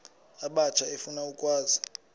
abatsha efuna ukwazi